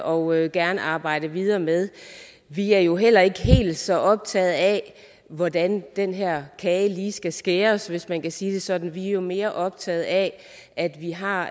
og gerne arbejde videre med vi er jo heller ikke helt så optagede af hvordan den her kage lige skal skæres hvis man kan sige det sådan vi er jo mere optagede af at vi har